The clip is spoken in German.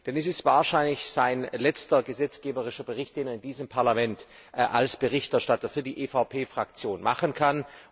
Denn es ist wahrscheinlich sein letzter gesetzgeberischer Bericht, den er in diesem Parlament als Berichterstatter für die EVP Faktion machen kann.